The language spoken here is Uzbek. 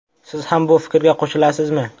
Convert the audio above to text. Siz ham bu fikrga qo‘shilasizmi?